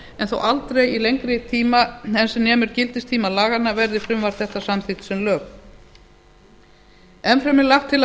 en þó aldrei í lengri tíma en sem nemur gildistíma laganna verði frumvarp þetta samþykkt sem lög enn fremur er lagt til að